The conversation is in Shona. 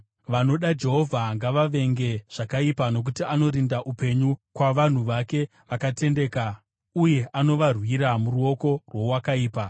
Vanoda Jehovha ngavavenge zvakaipa, nokuti anorinda upenyu kwavanhu vake vakatendeka uye anovarwira muruoko rwowakaipa.